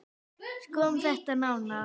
Skoðum þetta nánar